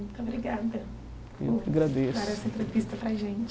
Muito obrigada eu que agradeço por dar essa entrevista para a gente.